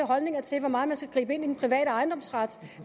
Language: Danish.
holdninger til hvor meget man skal gribe ind i den private ejendomsret